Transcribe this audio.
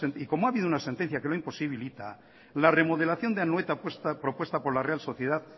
y como ha habido una sentencia que lo imposibilita la remodelación de anoeta propuesta por la real sociedad